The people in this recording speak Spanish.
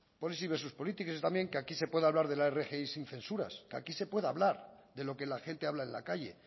que también aquí se puede hablar de la rgi sin censuras aquí se puede hablar de lo que la gente habla en la calle